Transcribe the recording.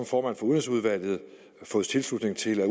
for udenrigsudvalget fået tilslutning til at